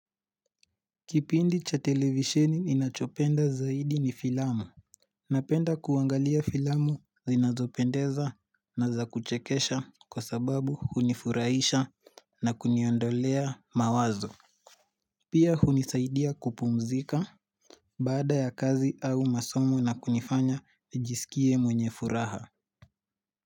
Kipindi cha televisheni ninachopenda zaidi ni filamu Napenda kuangalia filamu zinazopendeza na zakuchekesha kwa sababu hunifuraisha na kuniondolea mawazo Pia hunisaidia kupumzika baada ya kazi au masomo na kunifanya nijisikie mwenye furaha.